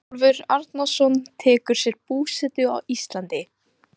Ingólfur Arnarson tekur sér búsetu á Íslandi.